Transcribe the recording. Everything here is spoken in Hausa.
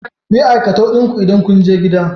Kuyi aikatau din ku idan kunje gida